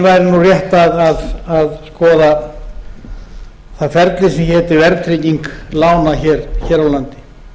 væri rétt að skoða það ferli sem héti verðtrygging lána hér á landi